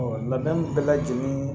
labɛnw bɛɛ lajɛlen